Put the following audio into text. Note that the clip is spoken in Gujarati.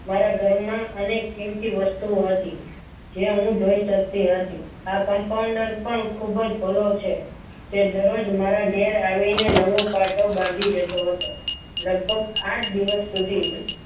મારા ઘરમાં અનેક કીમતી વસ્તુઓ હતી જે હું જોઈ શકતી હતી આ compounder પણ ખૂબ જ ભલો છે તે દરરોજ મારા ઘેર આવીને નવોપાટો બાંધી જતો હતો લગભગ આઠ દિવસ સુધી